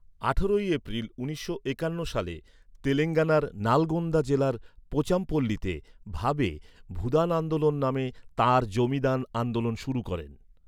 আঠারোই এপ্রিল উনিশশো একান্ন সালে, তেলেঙ্গানার নালগোন্দা জেলার পোচামপল্লীতে, ভাবে, ভূদান আন্দোলন নামে তাঁর জমি দান আন্দোলন শুরু করেন।